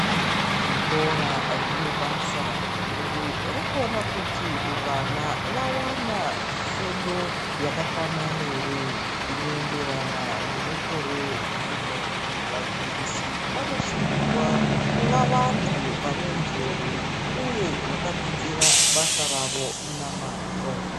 Zvikora zvine basa guru rekuona kuti vana vawana fundo yakakwana ere, inoenderana nemukore uno .Vadzidzisi vanosungirwa kuva vantu vane njere uye vakadzidzira basa ravo namazvo.